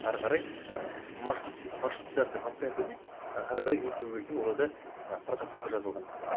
ары қарай ы маршрутизация пациента дейді ары қарай не істеу керек екені оларда ы протоколда жазылған